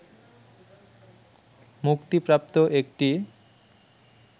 মুক্তিপ্রাপ্ত একটি